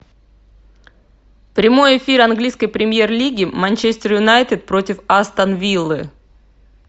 прямой эфир английской премьер лиги манчестер юнайтед против астон виллы